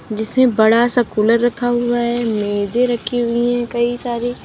जिसमें बड़ा सा कुलर रखा हुआ है मेजें रखी हुई है कई सारी--